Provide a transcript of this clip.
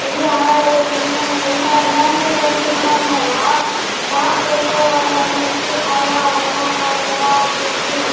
ఇది railway station అనుకుంట ఎలాంటి రైల్వే స్టేషన్ ఉండడం వాళ్ళ జాబ్ చేసేవలందరికి ఉపయోగకరంగా ఉంటది .